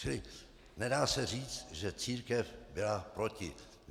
Čili nedá se říci, že církev byla proti.